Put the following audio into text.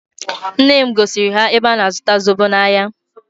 Nne m gosiri ya ebe a na-azụta zobo n'ahịa.